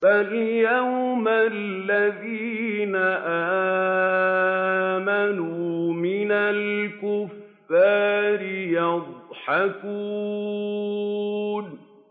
فَالْيَوْمَ الَّذِينَ آمَنُوا مِنَ الْكُفَّارِ يَضْحَكُونَ